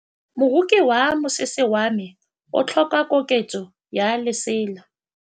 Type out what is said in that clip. Moroki wa mosese wa me o tlhoka koketsô ya lesela.